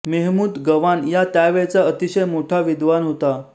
मेहमूद गवान या त्यावेळचा अतिशय मोठा विद्वान होता